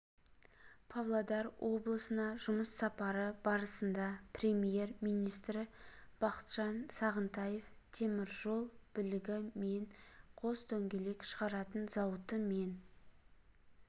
павлодар облысына жұмыс сапары барысында премьер-министрі бақытжан сағынтаев теміржол білігі мен қос дөңгелек шығаратын зауыты мен